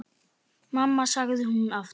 Mamma, sagði hún aftur.